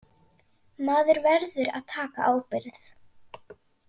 Maður verður að taka ábyrgð.